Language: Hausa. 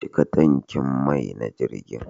Cika tankin mai na jirgin.